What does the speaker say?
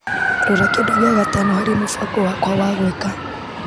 Rora kĩndũ gĩa gatano harĩ mũbango wakwa wa gwĩka .